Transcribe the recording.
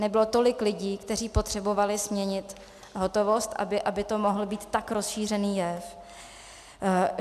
Nebylo tolik lidí, kteří potřebovali směnit hotovost, aby to mohl být tak rozšířený jev.